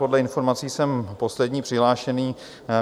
Podle informací jsem poslední přihlášený.